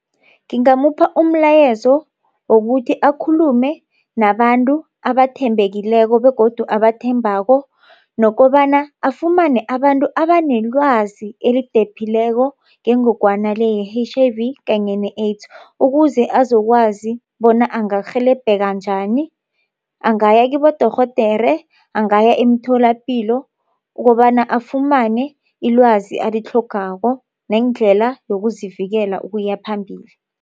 Ngingamupha umlayezo wokuthi akhulume nabantu abathembekileko begodu abathembako nokobana afumane abantu abanelwazi elidephileko ngengogwana le ye-H_I_V kanye ne-AIDS ukuze azokwazi bona angarhelebheka njani angaya kibodorhodera angaya emtholapilo ukobana afumane ilwazi alitlhogako nendlela yokuzivikela ukuya phambili.